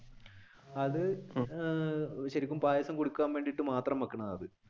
അത് അഹ് ശരിക്കും പായസം കുടിക്കാൻ വേണ്ടിയിട്ട് മാത്രം വെക്കുന്നതാണ്.